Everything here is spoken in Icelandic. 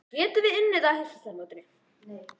Getum við unnið þá á Heimsmeistaramótinu?